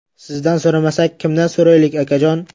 Sizdan so‘ramasak, kimdan so‘raylik, akajon?!